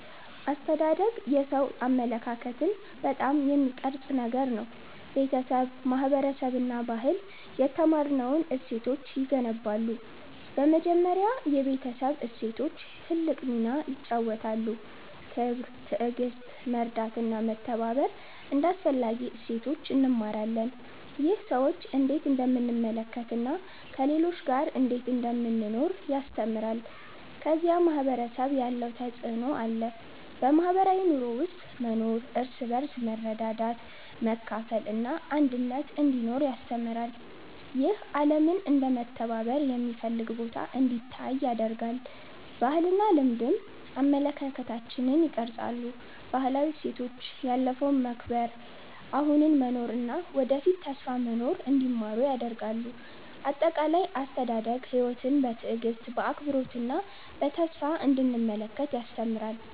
አስተዳደግ የሰው አመለካከትን በጣም የሚቀርጽ ነገር ነው። ቤተሰብ፣ ማህበረሰብ እና ባህል የተማርነውን እሴቶች ይገነባሉ። በመጀመሪያ የቤተሰብ እሴቶች ትልቅ ሚና ይጫወታሉ። ክብር፣ ትዕግሥት፣ መርዳት እና መተባበር እንደ አስፈላጊ እሴቶች እንማራለን። ይህ ሰዎችን እንዴት እንደምንመለከት እና ከሌሎች ጋር እንዴት እንደምንኖር ያስተምራል። ከዚያ ማህበረሰብ ያለው ተፅዕኖ አለ። በማህበራዊ ኑሮ ውስጥ መኖር እርስ በርስ መርዳት፣ መካፈል እና አንድነት እንዲኖር ያስተምራል። ይህ ዓለምን እንደ መተባበር የሚፈልግ ቦታ እንዲታይ ያደርጋል። ባህልና ልማድም አመለካከታችንን ይቀርጻሉ። ባህላዊ እሴቶች ያለፈውን መከብር፣ አሁኑን መኖር እና ወደፊት ተስፋ መኖር እንዲማሩ ያደርጋሉ። አጠቃላይ፣ አስተዳደግ ሕይወትን በትዕግሥት፣ በአክብሮት እና በተስፋ እንዲመለከት ያስተምራል።